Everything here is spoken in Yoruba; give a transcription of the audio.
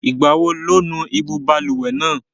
Ìgbà wo lo nu ibú balùwẹ̀ náà?